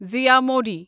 زِیہ Modi